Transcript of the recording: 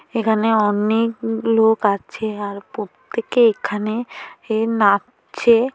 এখানে অনেক উম লোক আছে আর প্রত্যেকে এখানে এ নাচছে।